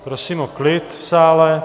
Prosím o klid v sále!